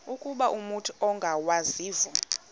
ukuba umut ongawazivo